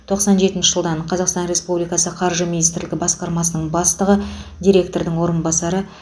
тоқсан жетінші жылдан қазақстан республикасы қаржы министрлігі басқармасының бастығы директордың орынбасары